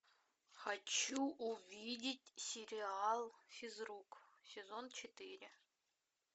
хочу увидеть сериал физрук сезон четыре